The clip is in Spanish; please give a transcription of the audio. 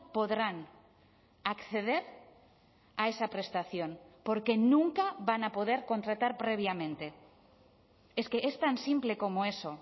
podrán acceder a esa prestación porque nunca van a poder contratar previamente es que es tan simple como eso